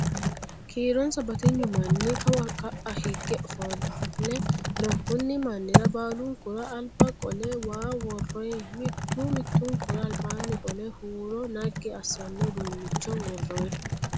Kiironsa batignu manni kawa ka'aa hige ofolle no. Konni mannira baalunkuri albaa qolle waa worroyi. Mittu mittunkura albaanni qolle huuro naggi assano uduunnicho worroyi.